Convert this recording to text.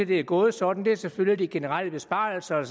det er gået sådan er selvfølgelig de generelle besparelser der